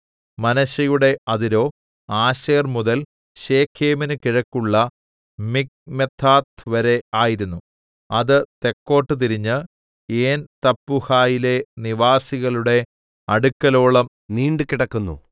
മനശ്ശെയുടെ അതിരോ ആശേർമുതൽ ശെഖേമിന് കിഴക്കുള്ള മിഖ്മെഥാത്ത്‌വരെ ആയിരുന്നു അത് തെക്കോട്ട് തിരിഞ്ഞ് ഏൻതപ്പൂഹയിലെ നിവാസികളുടെ അടുക്കലോളം നീണ്ടു കിടക്കുന്നു